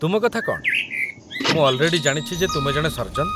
ତୁମ କଥା କ'ଣ, ମୁଁ ଅଲ୍‌ରେଡି ଜାଣିଛି ଯେ ତୁମେ ଜଣେ ସର୍ଜନ୍ ।